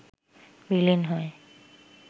বিলীন হয়